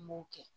N b'o kɛ